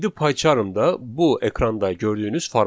İndi PyCharmda bu ekranda gördüyünüz formatdır.